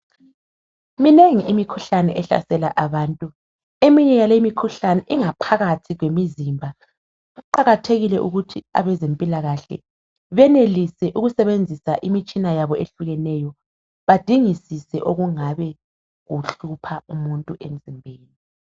Minengi imikhuhlane ehlasela abantu . Eminye yale imikhuhlane ingaphakathi kwemizimba. Kuqakathekile ukuthi abezempilakahle benelise ukusebenzisa imitshina yabo eyehlukeneyo badingisise okungabe kuhlupha umuntu emzimbeni.